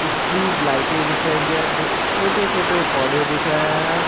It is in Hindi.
स्ट्रीट लाइटें दिख रही हैं छोटे छोटे पौधे दिख रहे हैं।